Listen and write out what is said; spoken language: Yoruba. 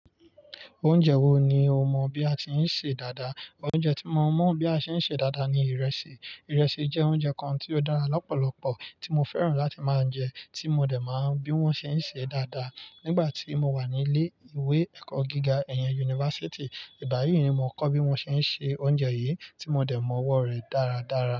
Oúnjẹ wo ni o mọ bí a ti ń sè é dáadáa? Oúnjẹ tí mo mọ̀ bí a ṣe ń sé dáadáa ni ìrẹsì. Ìrẹsì jẹ́ oúnjẹ kan tí ó dára lọ́pọ̀lọpọ̀ tí mo fẹ́ràn láti máa ń jẹ, tí mo dẹ̀ máa ń bi wọ́n ṣe ń sè é dáadáa nígbà tí mo wà nílé ìwé ẹ̀kọ́ gíga, ẹ̀yàn yunifásítì. Ìgbáyìí ni mo kọ́ bí wọ́n ṣe ń se oúnjẹ yìí tí mo dẹ̀ mọ ọwọ́ rẹ̀ dáradára.